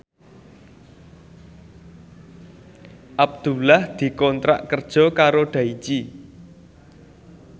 Abdullah dikontrak kerja karo Daichi